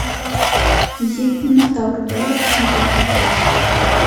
визит к минотавру давай я посмотрю